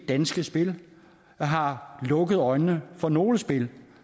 danske spil har lukket øjnene for nogle spil